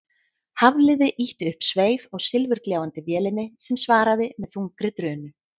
Hafliði ýtti upp sveif á silfurgljáandi vélinni sem svaraði með þungri drunu.